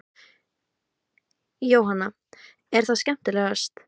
Jóhanna: Er það skemmtilegast?